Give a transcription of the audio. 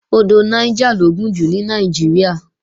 Odò Niger lo gùn jù ní Nàìjíríà